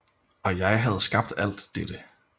Og jeg havde skabt alt dette